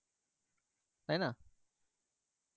তাই না